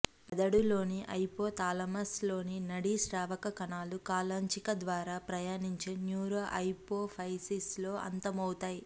మెదడులోని హైపోథలామస్ లోని నాడీ స్రావక కణాలు కాలాంచిక ద్వారా ప్రయాణించి న్యూరోహైపోఫైసిస్ లో అంతమౌతాయి